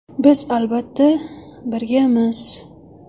Biz, albatta, birgamiz.